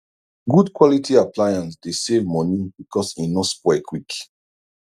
good quality appliance dey save money because e no spoil quick